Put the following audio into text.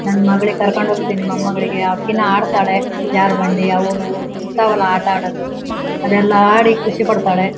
ನನ್ ಮಗಳಿಗೆ ಕರ್ಕೊಂಡು ಹೋಗ್ತೀನಿ ಮೊಮ್ಮಗಳಿಗೆ ಅಕಿನೂ ಆಡತ್ತಾಳೆ ಜರೋ ಬಂಡಿ ಅವು ಇವು ಇರ್ತವಲ್ಲ ಆಟ ಆಡೋದು ಅದೆಲ್ಲ ಆಡಿ ಖುಷಿ ಪಡ್ತಾಳೆ.